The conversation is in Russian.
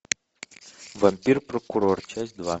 вампир прокурор часть два